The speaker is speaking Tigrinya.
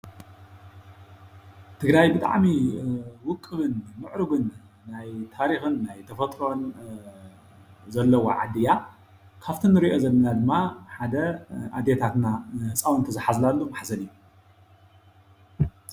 ትግራይ ብጣዕሚ ውቅብን ምዕሩጉን ናይ ታሪኽን ናይ ተፈጥሮን ዘለዋ ዓዲ እያ። ካፍቲ እንሪኦ ዘለና ድማ ሓደ ኣዴታትና ህፃውንቲ ዝሓዝላሉ ማሕዘል እዩ።